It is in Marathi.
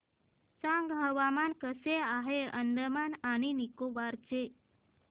सांगा हवामान कसे आहे आज अंदमान आणि निकोबार चे